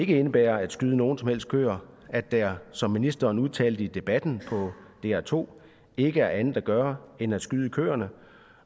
ikke indebærer at skyde nogen som helst køer at der som ministeren udtalte i debatten på dr2 ikke er andet at gøre end at skyde køerne